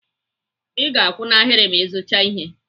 I ga-akwụ na ahịrị ma Ị zuchaa ihe.